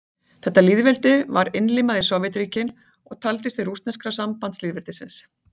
þetta lýðveldi var innlimað í sovétríkin og taldist til rússneska sambandslýðveldisins